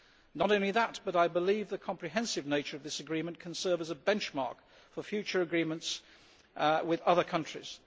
Not only that, I believe that the comprehensive nature of this agreement can serve as a benchmark for future agreements with other countries.